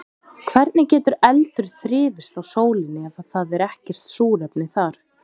Hvernig getur eldur þrifist á sólinni ef það er ekkert súrefni þar?